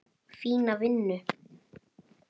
Fína vinnu.